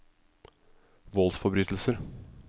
voldsforbrytelser